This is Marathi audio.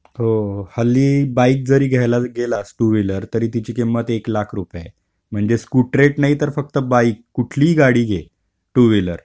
हो हल्ली बाईक जरी घ्यायला गेलास टू व्हीलर तरी तिची किंमत एक लाख रुपये आहे. म्हणजे स्कुटरेट नाही तर फक्त बाईक कुठलीही गाडी घे टू व्हीलर.